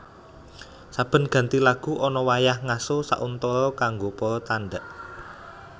Saben ganti lagu ana wayah ngaso sauntara kanggo para tandhak